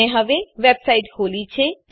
મેં હવે વેબસાઈટ ખોલી છે